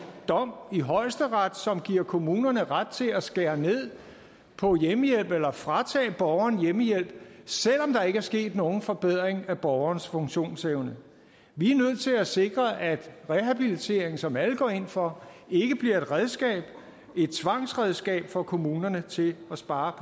dom i højesteret som giver kommunerne ret til at skære ned på hjemmehjælp eller fratage borgeren hjemmehjælp selv om der ikke er sket nogen forbedring af borgerens funktionsevne vi er nødt til at sikre at rehabilitering som alle går ind for ikke bliver et redskab et tvangsredskab for kommunerne til at spare